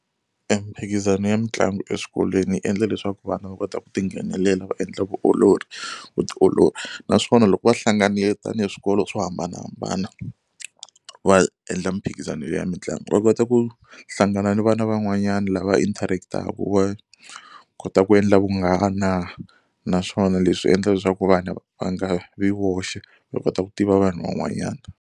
E mimphikizano ya mitlangu eswikolweni yi endla leswaku vana va kota ku ti nghenelela va endla vuolori vutiolori naswona loko va hlanganile tanihi swikolo swo hambanahambana va endla miphikizano ya mitlangu va kota ku hlangana na vana van'wanyana lava interact-aku va kota ku endla vunghana naswona leswi endla leswaku vana va nga vi woxe va kota ku tiva vanhu van'wanyana.